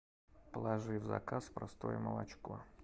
положи в заказ простое молочко